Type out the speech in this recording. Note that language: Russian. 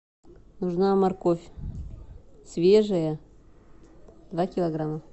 нужна морковь свежая два килограмма